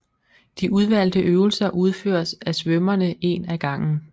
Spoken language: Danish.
De udvalgte øvelser udføres af svømmerne en af gangen